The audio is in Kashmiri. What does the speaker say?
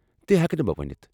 تہ ہٮ۪کہٕ نہٕ بہ ؤنتھ۔